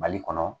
Mali kɔnɔ